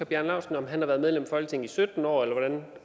bjarne laustsen har været medlem af folketinget i sytten år eller hvordan og